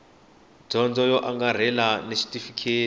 dyondzo yo angarhela na xitifiketi